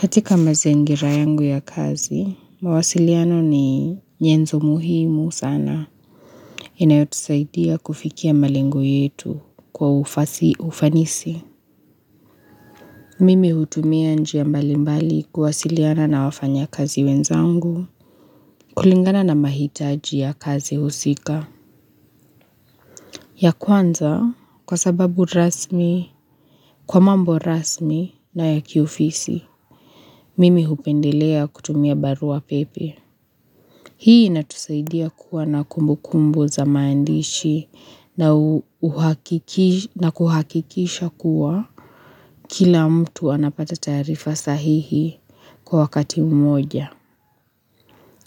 Katika mazingira yangu ya kazi, mawasiliano ni nyenzo muhimu sana inayotusaidia kufikia malengo yetu kwa ufasihi kwa ufanisi. Mimi hutumia njia mbalimbali kuwasiliana na wafanya kazi wenzangu kulingana na mahitaji ya kazi husika. Ya kwanza kwa sababu rasmi, kwa mambo rasmi na ya kiofisi, mimi hupendelea kutumia barua pepe. Hii inatusaidia kuwa na kumbu kumbu za maandishi na kuhakikisha kuwa kila mtu anapata tarifa sahihi kwa wakati mmoja.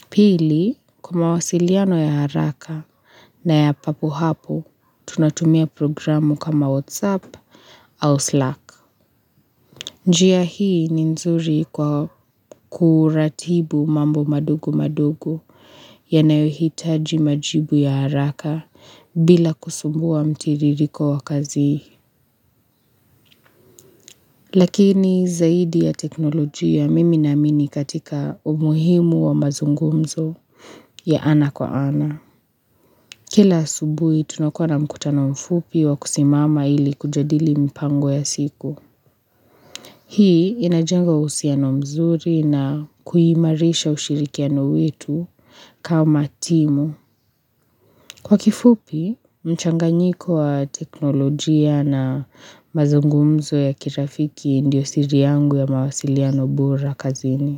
Pili, kwa mawasiliano ya haraka na ya papo hapo, tunatumia programu kama WhatsApp au Slack. Njia hii ni nzuri kwa kuratibu mambo madogo madogo yanayohitaji majibu ya haraka bila kusumbua mtiririko wa kazi. Lakini zaidi ya teknolojia mimi naamini katika umuhimu wa mazungumzo ya ana kwa ana. Kila asubuhi tunakuwa na mkutano mfupi wa kusimama ili kujadili mpango ya siku. Hii inajenga uhusiano mzuri na kuimarisha ushirikiano wetu kama timu. Kwa kifupi, mchanganyiko wa teknolojia na mazungumzo ya kirafiki ndiyo siri yangu ya mawasiliano bora kazini.